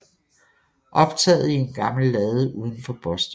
Optaget i en gammel lade uden for Boston